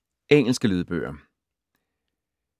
Engelske lydbøger